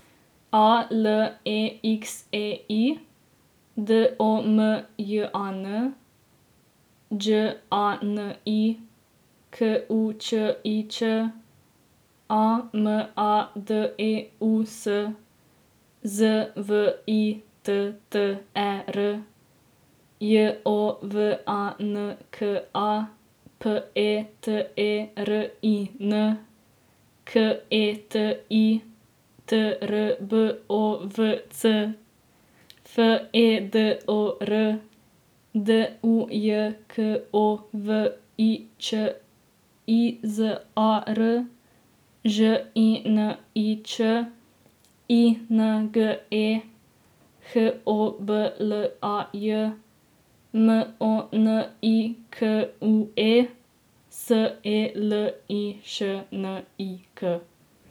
A L E X E I, D O M J A N; Đ A N I, K U Č I Č; A M A D E U S, Z V I T T E R; J O V A N K A, P E T E R I N; K E T I, T R B O V C; F E D O R, D U J K O V I Ć; I Z A R, Ž I N I Č; I N G E, H O B L A J; N O N I K U E, S E L I Š N I K.